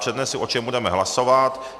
Přednesu, o čem budeme hlasovat.